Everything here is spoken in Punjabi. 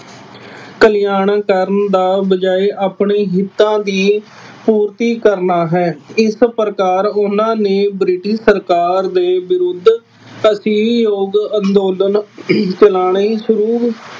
ਕਲਿਆਣਾਂ ਕਰਨ ਦਾ ਬਜਾਏ ਆਪਣੇ ਹਿੱਤਾ ਦੀ ਪੂਰਤੀ ਕਰਨਾ ਹੈ। ਇਸ ਪ੍ਰਕਾਰ ਉਹਨਾ ਨੇ ਬ੍ਰਿਟਿਸ਼ ਸਰਕਾਰ ਦੇ ਵਿਰੁੱਧ ਅੰਦੋਲਨ ਚਲਾਉਣੇ ਸ਼ੁਰੂ